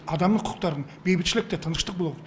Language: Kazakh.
адамның құқықтарын бейбітшілікті тыныштық болу керек